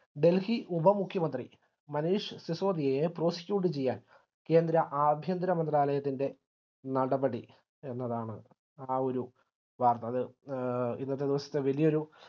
delhi ഉപ മുഖ്യമന്ത്രി മനീഷ് സിസോദിയയെ prosecute ചെയ്യാൻ കേന്ദ്ര ആഭ്യന്തര മന്ത്രാലയത്തിൻറെ നടപടി എന്നതാണ് ആ ഒരു വാർത്ത അത് ഇന്നത്തെ ദിവസത്തെ വലിയൊരു